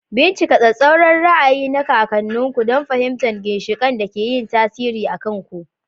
Bincika tsattsauran ra'ayi na kakanninku don fahimtar ginshiƙan da ke yin tasiri a kan ku.